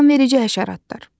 Ziyanverici həşəratlar.